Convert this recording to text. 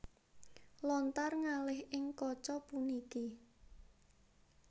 Lontar ngalih ing kaca puniki